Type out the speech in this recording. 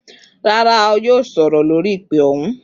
Rara, a yoo sọrọ lori ipe ohun.